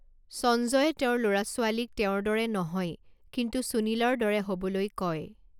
সঞ্জয়ে তেওঁৰ ল'ৰা ছোৱালীক তেওঁৰ দৰে নহয় কিন্তু সুনীলৰ দৰে হ'বলৈ কয়।